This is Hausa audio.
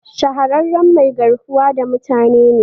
Shahararren mai garkuwa da mutane ne